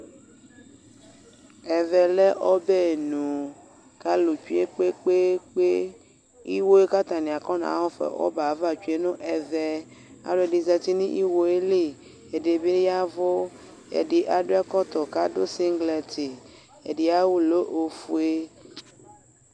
ɛve le ɔbenu kalutsekpekpekpe ihwoe buakatania kɑnahafa nobayava tsueneve ɑluedini zati niwoyeli ɛdibi yewu kedi adɔ ɛkɔto kadu siglet ɛdiayawu le ofue